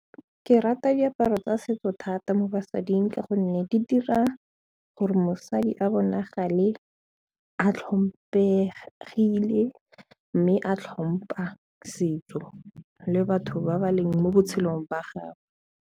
Ke rata diaparo tsa setso thata mo basading ka gonne di dira gore mosadi a bonagale a tlhomphegile mme a tlhompha setso le batho ba ba leng mo botshelong ba gagwe.